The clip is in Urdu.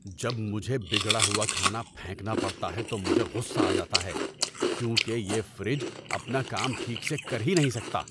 جب مجھے بگڑا ہوا کھانا پھینکنا پڑتا ہے تو مجھے غصہ آ جاتا ہے کیونکہ یہ فریج اپنا کام ٹھیک سے کر ہی نہیں سکتا!